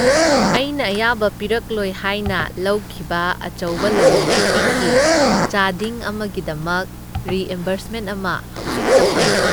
ꯑꯩꯅ ꯑꯌꯥꯕ ꯄꯤꯔꯛꯂꯣꯏ ꯍꯥꯏꯅ ꯂꯧꯈꯤꯕ ꯑꯆꯧꯕ ꯂꯂꯣꯟ ꯏꯇꯤꯛꯀꯤ ꯆꯥꯗꯤꯡ ꯑꯃꯒꯤꯗꯃꯛ ꯔꯤꯏꯝꯕꯔꯁꯃꯦꯟꯠ ꯑꯃ ꯍꯧꯖꯤꯛꯇ ꯐꯪꯈꯤ꯫